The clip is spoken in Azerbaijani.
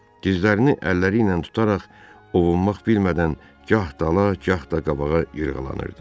Gözlərini əlləri ilə tutaraq ovunmaq bilmədən gah dala, gah da qabağa yırğalanırdı.